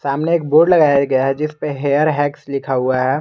सामने एक बोर्ड लगाया गया है जिसपे हेयर हैक्स लिखा हुआ है।